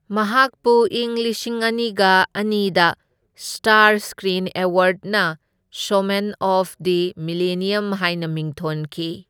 ꯃꯍꯥꯀꯄꯨ ꯏꯪ ꯂꯤꯁꯤꯡ ꯑꯅꯤꯒ ꯑꯅꯤꯗ ꯁ꯭ꯇꯥꯔ ꯁꯀ꯭ꯔꯤꯟ ꯑꯦꯋꯥꯔꯗꯅ ꯁꯣꯃꯦꯟ ꯑꯣꯐ ꯗ ꯃꯤꯂꯦꯅ꯭ꯌꯝ ꯍꯥꯏꯅ ꯃꯤꯡꯊꯣꯟꯈꯤ꯫